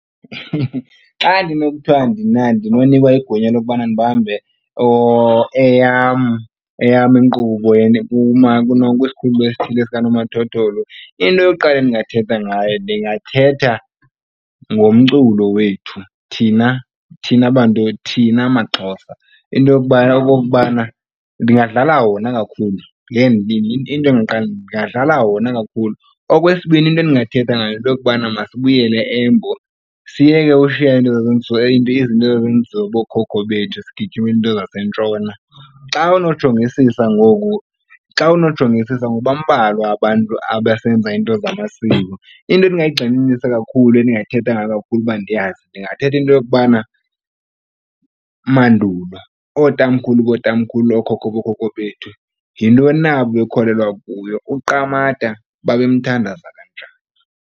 Xa ndinokuthwa mna ndinonikwa igunya lokubana ndibambe eyam eyam inkqubo kwisikhululo esithile sikanomathotholo, into yokuqala endingathetha ngayo ndingathetha ngomculo wethu thina thina bantu thina maXhosa. Into yokubana okokubana ndingadlala wona kakhulu into endingaqale ndingadlala wona kakhulu. Okwesibini, into endingathetha ngayo yinto yokubana masibuyele eMbo siyeke ushiya into zazenziwa bookhokho bethu sigijimele into zaseNtshona. Xa unojongisisa ngoku, xa unojongisisa ngoku bambalwa abantu abasenza iinto zamasiko. Into endingayigxininisa kakhulu endingathetha ngayo kakhulu uba ndiyazi ndingathetha into yokubana mandulo ootamkhulu bootamkhulu, ookhokho bookhokho bethu yintoni na ababekholelwa kuyo. UQamata babemthandaza kanjani.